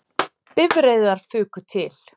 Bifreiðar fuku til